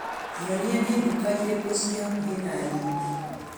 Nyonia nĩ nduka irĩkũ ciĩ hakuhĩ na niĩ .